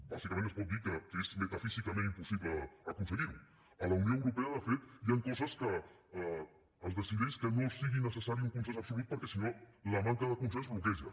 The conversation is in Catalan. bàsicament es pot dir que és metafísicament impossible aconseguir ho a la unió europea de fet hi han coses que es decideix que no sigui necessari un consens absolut perquè si no la manca de consens bloqueja